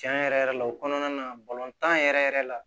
Tiɲɛ yɛrɛ yɛrɛ la o kɔnɔna na tan yɛrɛ yɛrɛ la